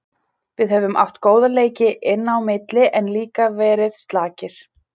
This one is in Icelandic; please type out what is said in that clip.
Við höfum átt góða leiki inn á milli en líka verið slakir.